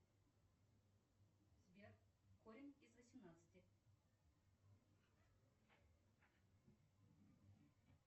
сбер корень из восемнадцати